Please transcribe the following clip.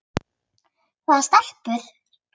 Hvaða stelpu?